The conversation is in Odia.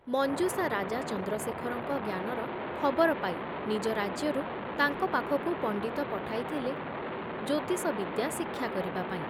ମଞ୍ଜୁଷା ରାଜା ଚନ୍ଦ୍ରଶେଖରଙ୍କ ଜ୍ଞାନର ଖବର ପାଇ ନିଜ ରାଜ୍ୟରୁ ତାଙ୍କ ପାଖକୁ ପଣ୍ଡିତ ପଠାଇଥିଲେ ଜ୍ୟୋତିଷ ବିଦ୍ୟା ଶିକ୍ଷା କରିବାପାଇଁ ।